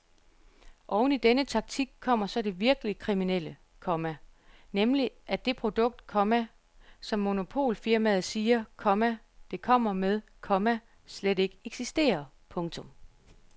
Oveni denne taktik kommer så det virkelig kriminelle, komma nemlig at det produkt, komma som monopolfirmaet siger, komma det kommer med, komma slet ikke eksisterer. punktum